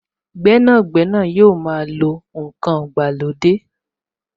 Gbẹ́nàgbẹ́nà yóò máa lo n kan ìgbàlódé